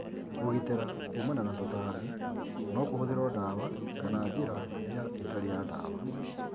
Kũgitĩra kuumana na tũtambi nokũhũthĩrwo dawa kana njĩra ya ĩtarĩya dawa.